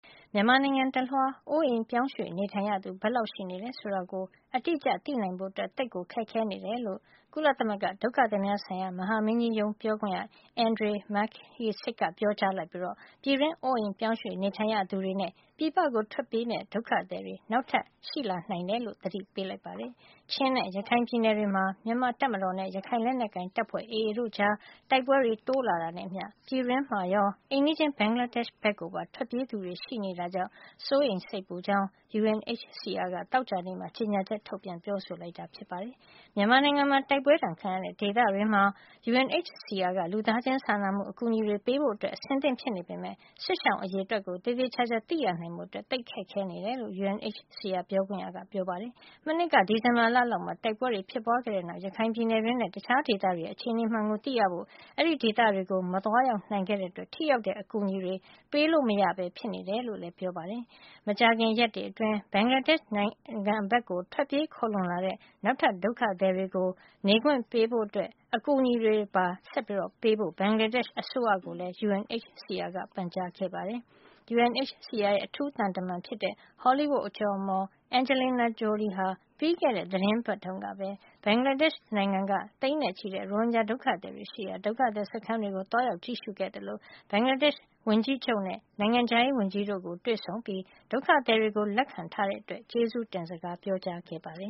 မြန်မာနိုင်ငံတလွှား အိုးအိမ်ရွှေ့ပြောင်းနေထိုင်ရသူ ဘယ်လောက်ရှိနေတယ်ဆိုတာ အတိ အကျသိနိုင်ဖို့ သိပ်ခက်ခဲနေတယ်လို့ ကုလသမဂ္ဂဒုက္ခသည်များဆိုင်ရာ မဟာမင်းကြီးရုံး ပြောခွင့်ရ Andrej Mahecic က ပြော ကြားလိုက်ပြီး ပြည်တွင်းအိုးအိမ်ပြောင်းရွှေ့ နေထိုင် ရသူတွေနဲ့ ပြည်ပကို ထွက်ပြေးမယ့် ဒုက္ခသည်တွေ နောက်ထပ် တွေ့လာရနိုင်တယ်လို့ သတိပေးလိုက်ပါတယ်။ ချင်းနဲ့ရခိုင်ပြည်နယ်တွေမှာ မြန်မာတပ်မတော်နဲ့ ရခိုင်လက်နက်ကိုင်တပ်ဖွဲ့ AA တို့ကြား တိုက်ပွဲတွေ တိုးလာတာနဲ့အမျှ ပြည်တွင်းမှာရော၊ အိမ်နီးချင်း ဘင်္ဂလားဒေ့ရှ်ဘက်ကိုပါ ထွက်ပြေးသူတွေ ရှိနေတာကြောင့် စိုးရိမ်စိတ်ပူကြောင်း UNHCR က သောကြာနေ့က ကြေညာချက် ထုတ်ပြန်ပြောဆိုခဲ့တာပါ။ မြန်မာနိုင်ငံမှာ တိုက်ပွဲဒဏ်ခံရတဲ့ ဒေသတွေမှာ UNHCR က လူသားချင်းစာနာမှု အကူ အညီတွေပေးဖို့ အဆင်သင့်ဖြစ်နေပေမယ့် စစ်ရှောင်အရေအတွက်ကို သေသေချာချာ သိရဖို့ သိပ်ခက်ခဲနေတယ်လို့ UNHCR ပြောခွင့်ရက ပြောပါတယ်။ မနှစ်က ဒီဇင်ဘာလ လောက်မှာ တိုက်ပွဲတွေ ဖြစ်ပွါးခဲ့တဲ့နောက် ရခိုင်ပြည်နယ်တွင်းနဲ့ တခြားဒေသတွေရဲ့ အခြေအနေမှန်ကိုသိရဖို့ အဲဒီဒေသတွေကို မသွားရောက်နိုင်တဲ့အတွက် ထိရောက်တဲ့ အကူညီတွေ ပေးလို့မရဘဲ ဖြစ်နေတယ်လို့လည်း ပြောပါတယ်။ မကြာခင်ရက်တွေအတွင်း ဘင်္ဂလားဒေ့ရှ်နိုင်ငံဘက်ကို ထွက်ပြေးခိုလှုံလာတဲ့ နောက်ထပ် ဒုက္ခသည်တွေကို နေခွင့်ပေးဖို့နဲ့ အကူညီတွေပေးဖို့ ဘင်္ဂလားဒေ့ရှ်အစိုးရကိုလည်း UNHCR က ပန်ကြားခဲ့ပါတယ်။ UNHCR ရဲ့ အထူးသံတမန် ဟောလိဝုဒ် အကျော်အမော် Angelina Jolie ဟာ ပြီးခဲ့ဲတဲ့ သီတင်းပတ်တုန်းကပဲ ဘင်္ဂလားဒေ့ရှ်နိုင်ငံက သိန်းနဲ့ချီတဲ့ ရိုဟင်ဂျာ ဒုက္ခသည်တွေရှိရာ ဒုက္ခသည်စခန်းတွေကို သွားရောက် ကြည့်ရှုခဲ့သလို ဘင်္ဂလားဒေ့ရှ် ဝန်ကြီးချုပ်နဲ့ နိုင်ငံခြားရေးဝန်ကြီးတို့ကို တွေ့ဆုံပြီး ဒုက္ခသည်တွေကို လက်ခံထားတဲ့အတွက် ကျေးဇူးတင်စကား ပြောကြားခဲ့ပါတယ